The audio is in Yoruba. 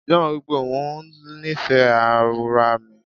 John wipe o wun itẹ ara mi.